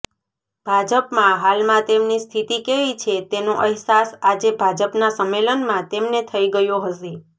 ભાજપમાં હાલમાં તેમની સ્થિતિ કેવી છે તેનો અહેસાસ આજે ભાજપના સંમેલનમાં તેમને થઈ ગયો હશે